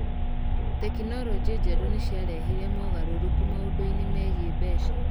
Tekinoronjĩ njerũ nĩ ciarehire mogarũrũku maũndũ-inĩ megiĩ mbeca.